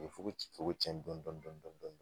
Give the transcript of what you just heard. U bi fuko ci fuko cɛn dɔɔnin dɔɔnin dɔɔnin dɔɔnin